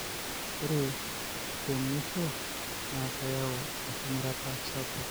ore temuisho na keyieu engurata sapuk.